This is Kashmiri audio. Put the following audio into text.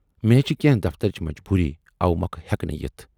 مےٚ ہے چھے کینہہ دفترٕچ مجبوٗری اوٕمۅکھٕ ہیکہِ نہٕ یِتھ۔